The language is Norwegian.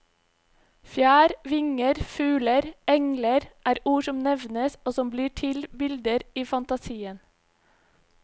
Fjær, vinger, fugler, engler er ord som nevnes og som blir til bilder i fantasien.